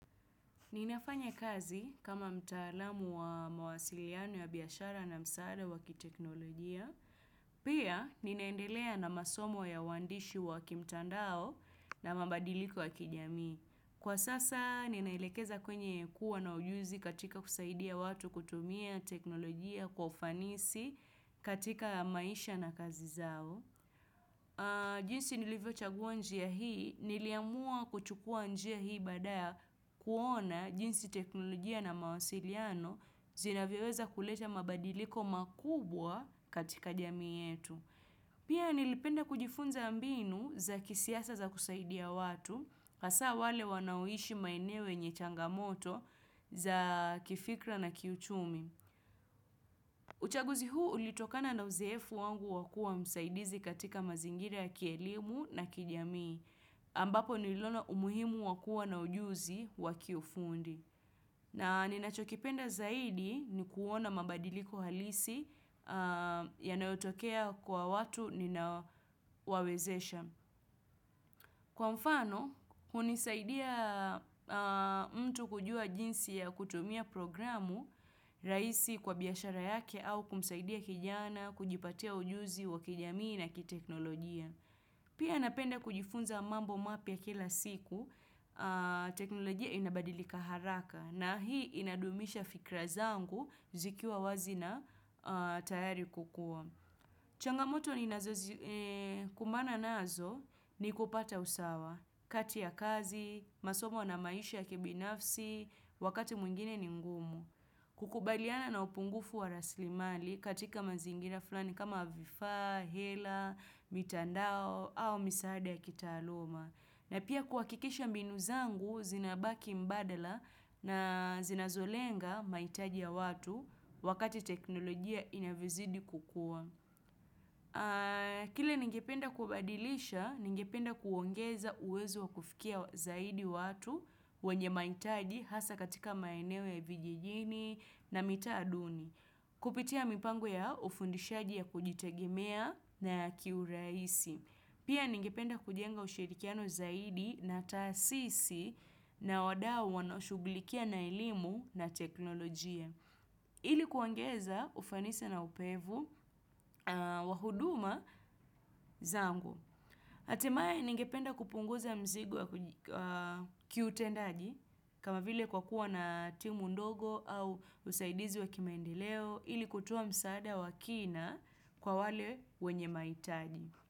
Ninafanya kazi kama mtaalamu wa mawasiliano ya biashara na msaada wakiteknolojia. Pia, ninaendelea na masomo ya uandishi wakimtandao na mabadiliko ya kijamii. Kwa sasa, ninaelekeza kwenye kuwa na ujuzi katika kusaidia watu kutumia teknolojia kwa ufanisi katika maisha na kazi zao. Jinsi nilivyo chagua njia hii, niliamua kuchukua njia hii baada ya kuona jinsi teknolojia na mawasiliano zinavyoweza kuleta mabadiliko makubwa katika jamii yetu. Pia nilipenda kujifunza mbinu za kisiasa za kusaidia watu, hasa wale wanaoishi maeneo yenye changamoto za kifikra na kiuchumi. Uchaguzi huu ulitokana na uzoefu wangu wakuwa msaidizi katika mazingira kielimu na kijamii, ambapo niliona umuhimu wakuwa na ujuzi wakiu fundi. Na ninachokipenda zaidi ni kuona mabadiliko halisi yanayotokea kwa watu ninawawezesha. Kwa mfano, hunisaidia mtu kujua jinsi ya kutumia programu raisi kwa biashara yake au kumsaidia kijana, kujipatia ujuzi wa kijamii na kiteknolojia. Pia napenda kujifunza mambo mapya kila siku, teknolojia inabadilika haraka na hii inadumisha fikra zangu zikiwa wazi na tayari kukuwa. Changamoto ni kumana nazo ni kupata usawa, kati ya kazi, masomo na maisha ya kibinafsi, wakati mwingine ni ngumu. Kukubaliana na upungufu wa raslimali katika mazingira fulani kama vifaa, hela, mitandao au misaada ya kita aluma. Na pia kuakikisha mbinu zangu zinabaki mbadala na zinazolenga maitaji ya watu wakati teknolojia inavyozidi kukua. Kile ningependa kubadilisha, ningependa kuongeza uwezo wa kufikia zaidi watu wenye maitaji hasa katika maeneo ya vijijini na mitaa duni. Kupitia mipango ya ufundishaji ya kujitegemea na kiuraisi. Pia ningependa kujenga ushirikiano zaidi na taasisi na wadao wanao shugulikia na elimu na teknolojia. Ili kuongeza ufanisi na upevu wahuduma zangu. Hatimaye ningependa kupunguza mzigo kiu tendaji kama vile kwa kuwa na timu ndogo au usaidizi wa kimaendeleo ili kutoa msaada wa kina kwa wale wenye maitaji.